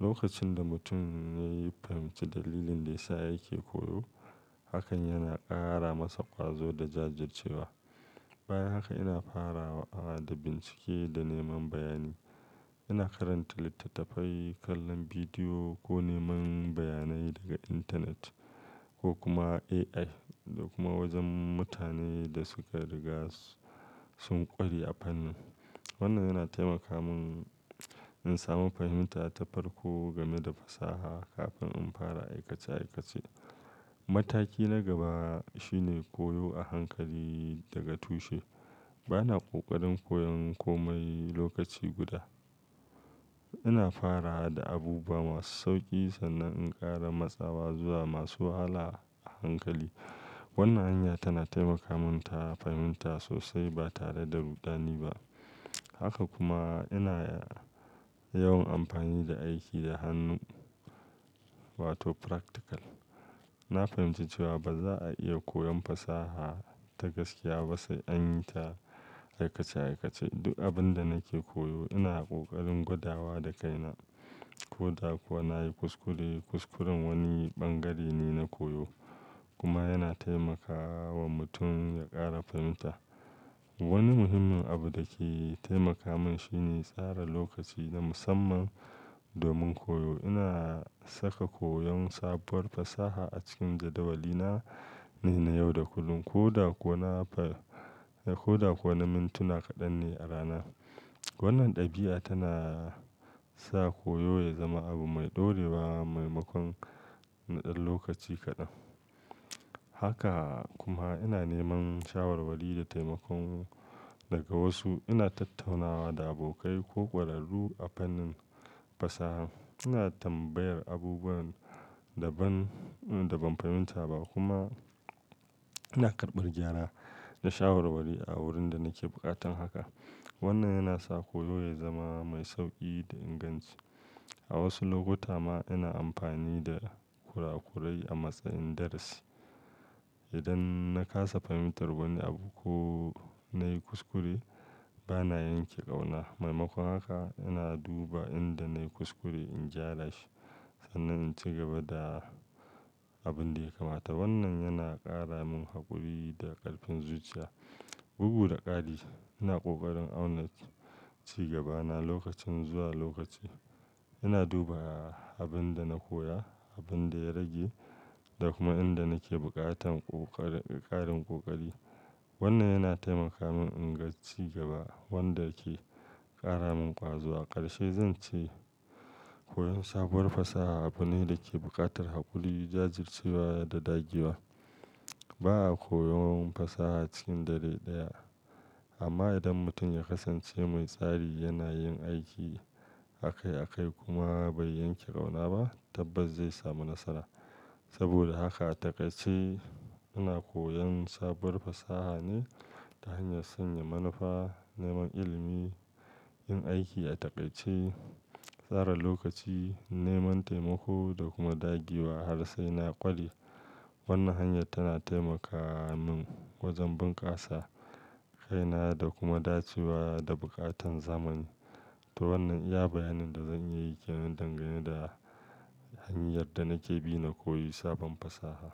Lokacin da mutum ya yi fahimci dalilin da yasa yake koyo, hakan yana ƙara masa ƙwazo da jajircewa. Bayan haka ina farawa da bincike da neman bayani. Ina karanta littattafai, kallon bidiyo ko neman bayanai daga intanet ko kuma AI da kuma wajen mutane da suka riga sun ƙware a fannin. Wannan yana taimaka mun in samu fahimta ta farko game da fasaha kafin in fara aikace aikace. Mataki na gaba shine koyo a hankali daga tushe. Bana ƙoƙarin koyon komai lokaci guda. Ina farawa da abubuwa masu sauƙi sannan in ƙara matsawa zuwa masu wahala a hankali. Wannan hanya tana taimaka mun ta fahimta sosai ba tare da rudani ba. Haka kuma ina yawan amfani da aiki da hannu wato practical. Na fahimci cewa ba za a iya koyon fasaha ta gaskiya ba sai an yi ta a aikace aikace. Duk abin da nake koyo ina ƙoƙarin gwadawa da kaina ko da kuwa na yi kuskure. Kuskuren wani bangare ne na koyo kuma yana taimakawa mutum ya ƙara fahimta. Wani muhimmin abu da ke taimaka mun shine tsara lokaci na musamman domin koyo. Ina saka koyon sabuwar fasaha a cikin jadawali na ne na yau da kullum ko da ko na far-- ko da ko na mintuna kaɗan ne a rana. Wannan ɗabi'a tana sa koyo ya zama abu mai ɗorewa maimakon na ɗan lokaci kaɗan. Haka kuma ina neman shawarwari da taimako daga wasu. Ina tattaunawa da abokai ko ƙwararru a fannin fasaha. Ina tambayar abubuwan da ban, da ban fahimta ba kuma ina karɓar gyara da shawarwari a wurin da nake buƙatan haka. Wannan yana sa koyo ya zama mai sauƙi da inganci. A wasu lokuta ma ina amfani da kurakurai a matsayin darasi. Idan na kasa fahimtar wani abu ko na yi kuskure, bana yanke ƙauna. Maimakon haka ina duba inda na yi kuskure in gyara shi sannan in ci gaba da abin da ya kamata. Wannan yana ƙara mun haƙuri da ƙarfin zuciya. Bugu da ƙari, ina ƙoƙarin auna cigabana lokaci zuwa lokaci. Ina duba abin da na koya, abin da ya rage da kuma inda nake buƙatan ƙoƙarin, ƙarin ƙoƙari. Wannan yana taimaka mun in ga cigaba wanda ke ƙara mun ƙwazo. Ƙarshe zan ce, koyon sabuwar fasaha abu ne da ke buƙatar haƙuri, jajircewa da dagewa. Ba a koyon fasaha cikin dare ɗaya, amma idan mutum ya kasance mai tsari, yana yin aiki akai akai kuma bai yanke ƙauna ba, tabbas zai samu nasara. Saboda haka a taƙaice ina koyon sabuwar fasaha ne ta hanyar sanya manufa, neman ilimi, yin aiki a taƙaice, tsara lokaci, neman taimako da kuma dagewa har sai na ƙware. Wannan hanyar tana taimaka mun wajen bunkasa kaina da kuma dacewa da buƙatan zamani. To wannan iya bayanin da zan iya yi kenan dangane da hanyar da nake bi na koyi sabon fasaha.